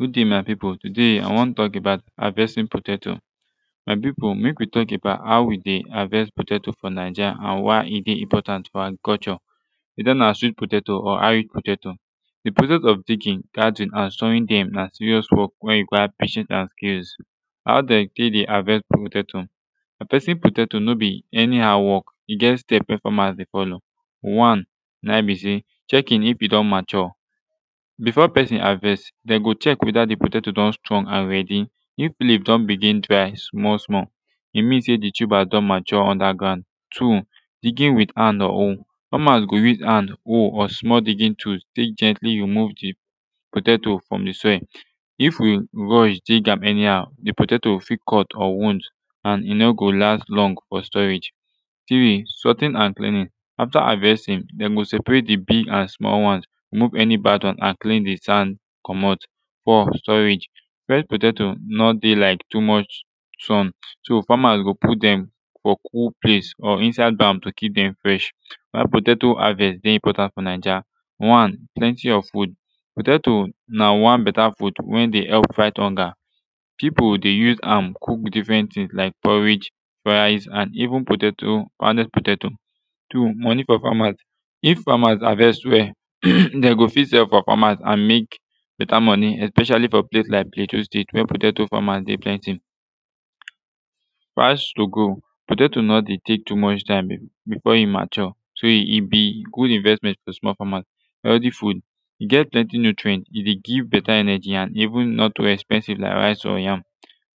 good day my pipu today i wan tok about havestin potato my pipu mek we tok about how we de havest potato fo naija an why e de important fo agriculture weta na sweet potato or irish potato de process of digging guarding an sewin dem na serious work wey require patience and skills how dey tek de havest potato havestin potato no be anyhow work e get steps wey famas de follow one na em be sey checking if e don mature bifo pesin havest dem go check weta de potato don strong an redi if leaf don begin dry small small e mean sey de tubas don mature underground two digin wit han or hoe famas go use han hoe or small digin tool tek gently remove de potato from de soil if we rush dig am anyhow de potato fit cut or wound an e no go last long fo storage three sorting an cleaning afta havestin dem go separate de big an small one remove any bad one an clean de sand comot four storage fwesh potato no de like too much sun so famas go put dem fo kul place or inside bag to kip dem fresh why potato havest de important fo naija one plenti of food potato na one beta food wen de help fight hunger pipu de use am cook difren tins like porridge fries an even potatoes pounded potatoes two money fo famas if famas havest well de go fit sef fo famas an mek beta moni especially fo place like plateau state wey potatoes famas dey plenti bash to go potato no de tek too much time bifor e mature so e be good investment to small famas healthy food e get plenti nutrient e de give beta energy an even not to expensive like rice or yam